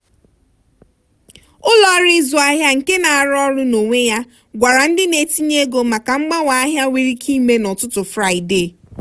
ụlọọrụ ịzụ ahịa nke na-arụ ọrụ n'onwe ya gwara ndị na-etinye ego maka mgbanwe ahịa nwere ike ime n'ụtụtụ fraịde.